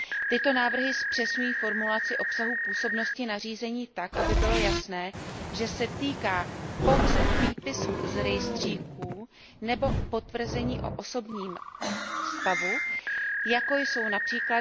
Tyto návrhy zpřesňují formulaci obsahu působnosti nařízení tak, aby bylo jasné, že se týká pouze výpisů z rejstříků nebo potvrzení o osobním stavu, jako jsou např.